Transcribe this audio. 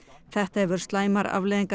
þetta hefur slæmar afleiðingar